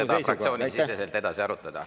Te saate seda fraktsioonisiseselt edasi arutada.